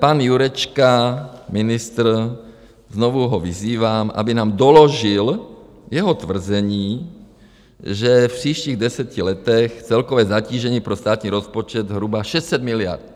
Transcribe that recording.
Pan Jurečka, ministr, znovu ho vyzývám, aby nám doložil jeho tvrzení, že v příštích deseti letech celkové zatížení pro státní rozpočet zhruba 600 miliard.